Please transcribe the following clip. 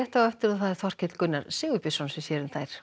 á eftir Þorkell Gunnar Sigurbjörnsson sér um þær